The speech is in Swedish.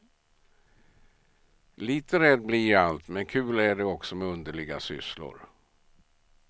Lite rädd blir jag allt men kul är det också med underliga sysslor.